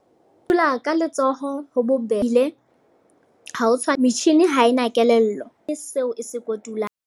Dula ka letsoho ho bo ha ho tshwane. Metjhini ha ena kelello e seo e se kotulang.